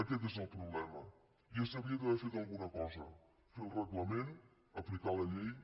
aquest és el problema ja s’hauria d’haver fet alguna cosa fer el reglament aplicar la llei